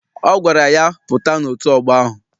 Ọ gwara ya, pụta n'otu ọgbọ ahụ!